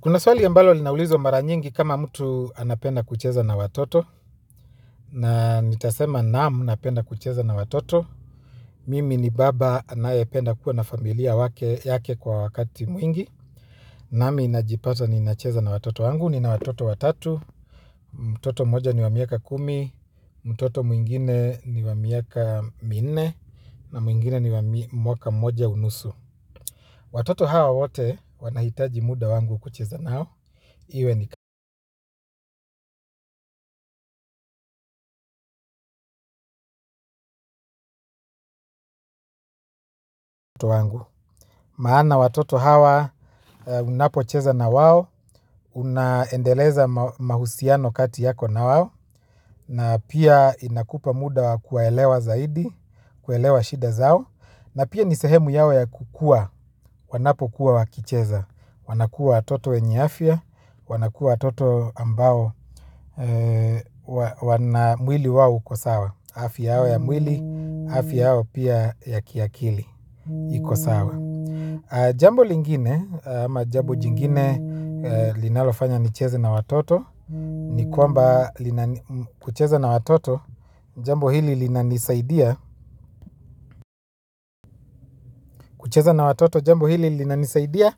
Kuna swali ambalo linaulizwa mara nyingi kama mtu anapenda kucheza na watoto. Na nitasema naam napenda kucheza na watoto. Mimi ni baba anayependa kuwa na familia wake yake kwa wakati mwingi. Nami najipata ninacheza na watoto wangu, nina watoto watatu. Mtoto mmoja ni wa miaka kumi, mtoto mwingine ni wa miaka mnne. Na mwingine ni wa mwaka mmoja unusu. Watoto hawa wote wanahitaji muda wangu kucheza nao. Iwe ni kama. Maana watoto hawa unapocheza na wao. Unaendeleza mahusiano kati yako na wao. Na pia inakupa muda kuwaelewa zaidi. Kuelewa shida zao. Na pia ni sehemu yao ya kukuwa. Wanapokuwa wakicheza wanakuwa watoto wenye afya. Wanakuwa watoto ambao. Wana mwili wao uko sawa. Afya yao ya mwili. Afya yao pia ya kiakili. Iko sawa. Jambo lingine ama jambo jingine linalofanya nicheze na watoto. Ni kwambakucheza na watoto jambo hili linanisaidia kucheze na watoto jambo hili linanisaidia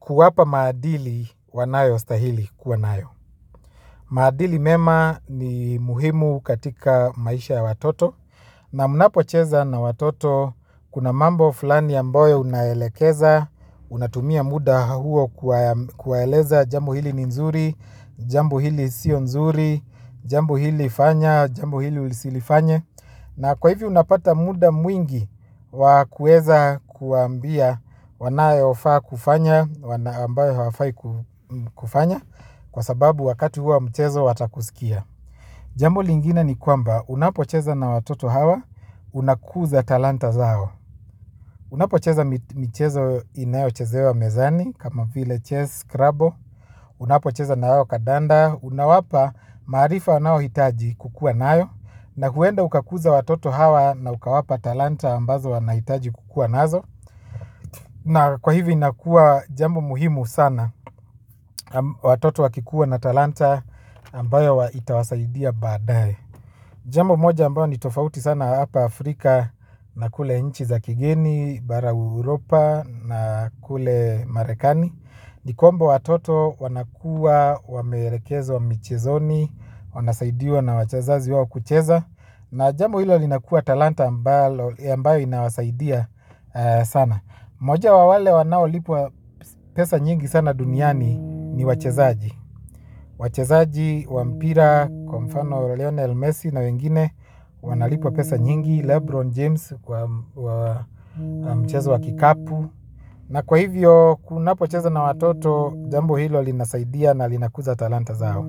kuwapa maadili wanayo stahili kuwa nayo. Maadili mema ni muhimu katika maisha ya watoto. Na mnapocheza na watoto kuna mambo fulani ambayo unaelekeza, unatumia muda huo kuwaeleza jambo hili nzuri, jambu hili sio nzuri, jambo hili fanya, jambo hili usilifanye. Na kwa hivi unapata muda mwingi wa kuweza kuwaambia wanayofaa kufanya, wana ambayo hawafai kufanya, kwa sababu wakati huo wa mchezo watakusikia. Jambo lingine ni kwamba unapocheza na watoto hawa unakuza talanta zao. Unapocheza michezo inayo chezewa mezani kama vile chess, scrabble, unapocheza na hao kandanda, unawapa maarifa wanao hitaji kukuwa nayo na huenda ukakuza watoto hawa na ukawapa talanta ambazo wanahitaji kukua nazo. Na kwa hivi inakuwa jambo muhimu sana watoto wakikuwa na talanta ambayo itawasaidia badaye. Jambo moja ambao ni tofauti sana hapa Afrika na kule nchi za kigeni, bara Europa na kule Marekani. Ni kwamba watoto wanakuwa wameelekezwa michezoni, wanasaidiwa na wache wazazi wao kucheza. Na jambo hilo linakua talanta ambalo ambayo inawasaidia sana unajua wale wanao lipwaa pesa nyingi sana duniani ni wachezaji. Wachezaji, wa mpira, kwa mfano Leonel Messi na wengine. Wanalipwa pesa nyingi, Lebron James kwa mchezo wa kikapu na kwa hivyo unapocheza na watoto jambo hilo linasaidia na linakuza talanta zao.